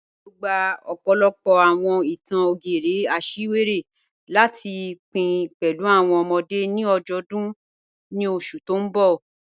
A yóò gbà ọ̀pọ̀lọ̀pọ̀ awọn ìtàn ògérè àṣìwéré láti pìn pẹ̀lú awọn ọ̀mọ̀dé̀ ni ajọdun ni oṣù tì n bọ́.